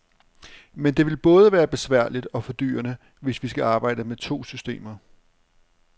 Men det vil både være besværligt og fordyrende, hvis vi skal arbejde med to systemer.